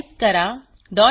type करा switch